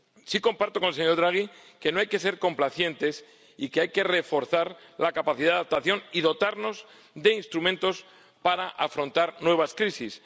Sí comparto con el señor Draghi que no hay que ser complacientes y que hay que reforzar la capacidad de adaptación y dotarnos de instrumentos para afrontar nuevas crisis.